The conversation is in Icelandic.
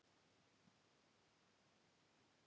Kristinn: Hefur þú hugmynd um tjón sem að þetta hefur orðið?